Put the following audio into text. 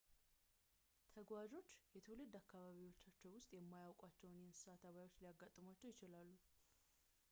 ተጓዦች የትውልድ አካባቢዎቻቸው ውስጥ የማያውቋቸው የእንሰሳ ተባዮች ሊያጋጥሟቸው ይችላሉ